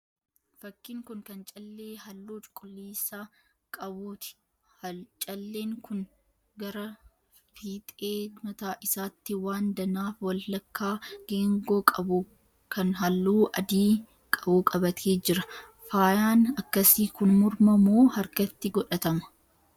Fakkiin kun kan callee halluu cuquliisa qabuuti. calleen kun gara fiixee mataa isaatti waan danaa walakkaa geengoo qabu kan halluu adii qabu qabatee jira. Faayaan akkasii kun morma moo harkatti godhatama?